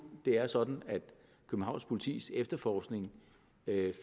det er sådan at københavns politis efterforskning